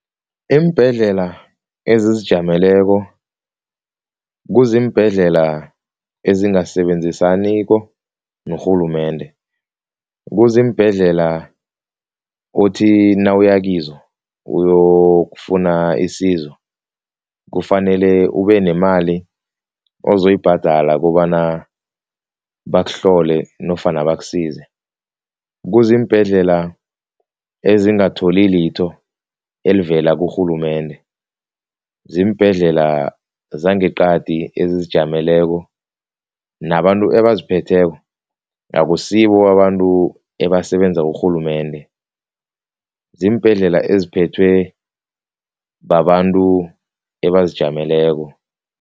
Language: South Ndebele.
Iimbhedlela ezizijameleko kuziimbhedlela ezingasebenzisaniko norhulumende, kuziimbhedlela uthi nawuya kizo uyokufuna isizo kufanele ubenemali uzoyibhadala kobana bakuhlole nofana bakusize. Kuziimbhedlela ezingatholakali litho elivela kurhulumende, ziimbhedlela zangeqadi ezizijameleko, nabantu ebaziphetheko akusibo babantu ebasebenza kurhulumende, ziimbhedlela eziphethwe babantu abazijameleko.